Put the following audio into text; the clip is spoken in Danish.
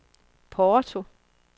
Porto